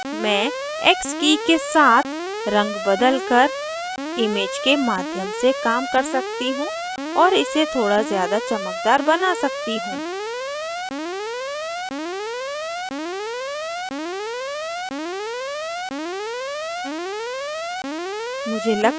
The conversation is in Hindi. मैं x की के साथ रंग बदलकर image के माध्यम से काम कर सकती हूँ और इसे थोड़ा ज़्यादा चमकदार बना सकती हूँ